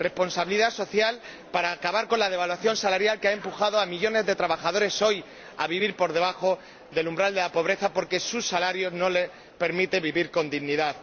Responsabilidad social para acabar con la devaluación salarial que ha empujado a millones de trabajadores hoy a vivir por debajo del umbral de la pobreza porque su salario no les permite vivir con dignidad.